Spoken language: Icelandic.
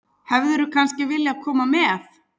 Hefðirðu kannski viljað koma með?